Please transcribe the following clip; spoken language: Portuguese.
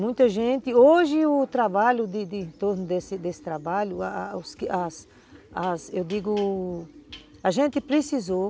Muita gente, hoje o trabalho de de em torno desse desse trabalho, a a as as eu digo, a gente precisou